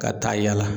Ka taa yala